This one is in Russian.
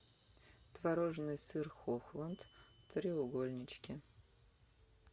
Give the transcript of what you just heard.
творожный сыр хохланд треугольнички